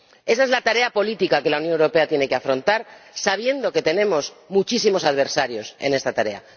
Esa es la tarea política que la Unión Europea tiene que afrontar, sabiendo que tenemos muchísimos adversarios en esta tarea.